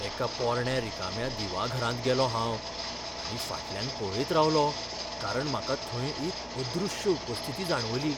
एका पोरण्या रिकाम्या दिवाघरांत गेलों हांव, आनी फाटल्यान पळयत रावलो कारण म्हाका थंय एक अदृश्य उपस्थिती जाणवली.